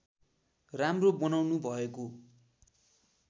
राम्रो बनाउनु भएको